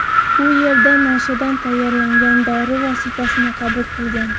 U yerda nashadan tayyorlangan dori vositasini qabul qilgan.